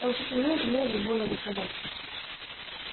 он всё тянул тянул бурбона за собой